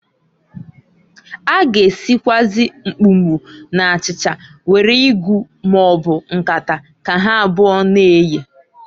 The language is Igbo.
A g'esikwasi mgbumgbu na achicha were igu maọbụ nkata ka ha abụo na-eye.